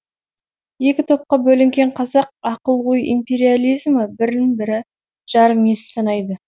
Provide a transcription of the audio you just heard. екі топқа бөлінген қазақ ақыл ой империализмі бірін бірі жарым ес санайды